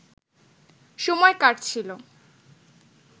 সময় কাটছিল